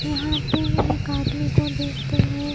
यहा पे एक आदमी को देखते है।